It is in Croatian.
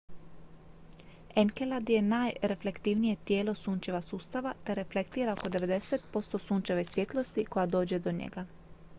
enkelad je najreflektivnije tijelo sunčeva sustava te reflektira oko 90 posto sunčeve svjetlosti koja dođe do njega